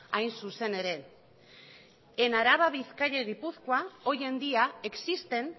hain zuzen ere en araba bizkaia y gipuzkoa hoy en día existen